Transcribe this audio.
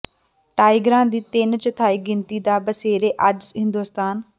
ਟਾਈਗਰਾਂ ਦੀ ਤਿੰਨ ਚੌਥਾਈ ਗਿਣਤੀ ਦਾ ਬਸੇਰਾ ਅੱਜ ਹਿੰਦੁਸਤਾਨ